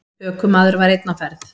Ökumaður var einn á ferð.